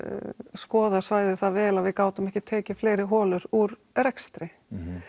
skoða svæðið það vel að við gátum ekki tekið fleiri holur úr rekstri